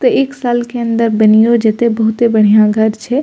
ते एक साल के अंदर बनइयो जे ते बहुते बढ़िया घर छै।